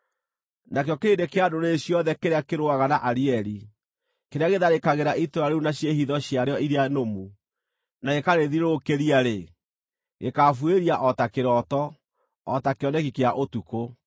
Nakĩo kĩrĩndĩ kĩa ndũrĩrĩ ciothe kĩrĩa kĩrũaga na Arieli, kĩrĩa gĩtharĩkagĩra itũũra rĩu na ciĩhitho ciarĩo iria nũmu, na gĩkarĩthiũrũrũkĩria-rĩ, gĩkaabuĩria o ta kĩroto, o ta kĩoneki kĩa ũtukũ: